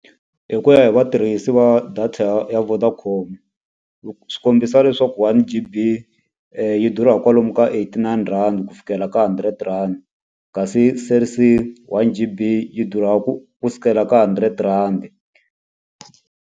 Hi ku ya hi vatirhisi va data ya ya Vodacom swi kombisa leswaku one G_B yi durha kwalomu ka eight-nine rhandi ku fikela ka hundred rhandi, kasi Cell C one G_B yi durha ku ku sukela ka hundred rhandi.